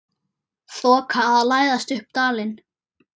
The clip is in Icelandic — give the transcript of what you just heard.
Þoka að læðast upp dalinn.